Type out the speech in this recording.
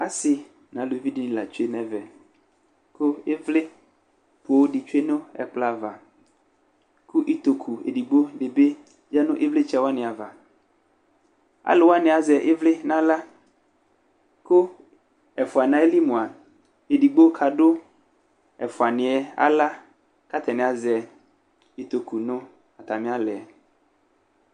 Asɩ nʋ aluvi dɩnɩ la tsue nʋ ɛvɛ kʋ ɩvlɩ poo dɩ tsue nʋ ɛkplɔ ava kʋ itoku edigbo bɩ yǝdu nʋ ɩvlɩtsɛ wanɩ ava Alʋ wanɩ azɛ ɩvlɩ nʋ aɣla kʋ ɛfʋa nʋ ayili mʋa, edigbo kadʋ ɛfʋanɩ yɛ aɣla kʋ atanɩ azɛ itoku nʋ atamɩ aɣla yɛ